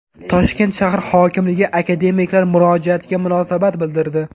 Toshkent shahar hokimligi akademiklar murojaatiga munosabat bildirdi.